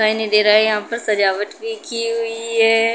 नहीं दे रहा है। यहां पर सजावट भी की हुई है।